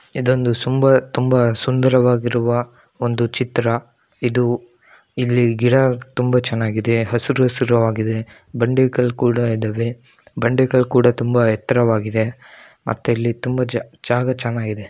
ಇದೊಂದು ಸುಂಬಾ ತುಂಬಾ ಸುಂದರವಾದ ಒಂದು ಚಿತ್ರ ಇದು ಇಲ್ಲಿ ಗಿಡ ತುಂಬಾ ಚೆನ್ನಾಗಿದೆ ಹಸ್ರ ಹಸ್ರಾಗಿದೆ ಬಂಡೆ ಕಲ್ಲು ಕೂಡ ಇದಾವೆ ಬಂಡೆಕಲ್ಲು ಕುಡ ತುಂಬಾ ಎತ್ತರವಾಗಿದೆ ಮತ್ತೆ ಇಲ್ಲಿ ತುಂಬಾ ಜ ಜಾಗ ಚನ್ನಾಗಿದೆ.